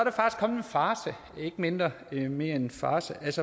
ikke mindre end en farce